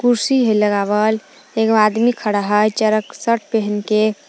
कुर्सी हइ लगावल एगो आदमी खड़ा हइ चरक सट पहनके।